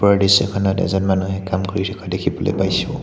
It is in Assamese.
ওপৰৰ দৃশ্যখনত এজন মানুহে কাম কৰি থকা দেখিবলৈ পাইছোঁ।